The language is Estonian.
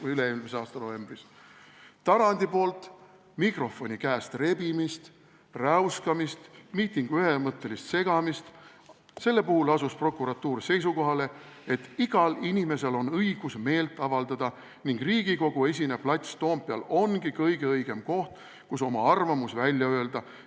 Mis puutub Tarandi poolt teisel inimesel mikrofoni käest rebimisse, räuskamisse, miitingu ühemõttelisse segamisse, siis prokuratuur asus seisukohale, et igal inimesel on õigus meelt avaldada ning et Riigikogu-esine plats Toompeal ongi kõige õigem koht, kus oma arvamus välja öelda.